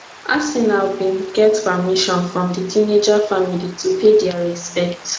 arsenal bin get permission from di teenager family to pay dia respects